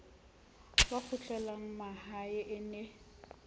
ba kgutlelang mahae e ne